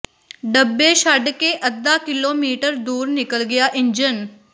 ਡੱਬੇ ਛੱਡ ਕੇ ਅੱਧਾ ਕਿਲੋਮੀਟਰ ਦੂਰ ਨਿਕਲ ਗਿਆ ਇੰਜਣ